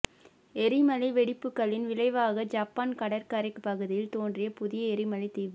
எரிமலை வெடிப்புக்களின் விளைவாக ஜப்பான் கடற்கரைப் பகுதியில் தோன்றிய புதிய எரிமலை தீவு